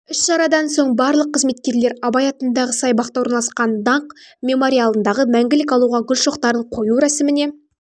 іс-шарадан соң барлық қызметкерлер абай атындағы саябақта орналасқан даңқ мемориалындағы мәңгілік алауға гүл шоқтарын қою рәсіміне